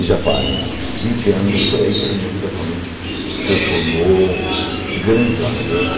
E já fazem vinte anos, mas foi aí que a minha vida realmente se transformou grandiosamente.